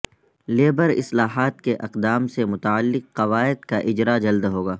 labour اصلاحات کے اقدام سے متعلق قواعد کا اجرا جلد ہوگا